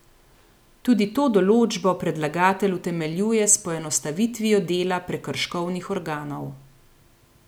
Tudi to določbo predlagatelj utemeljuje s poenostavitvijo dela prekrškovnih organov.